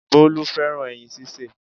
Bólú fẹ́ràn ẹyin sísè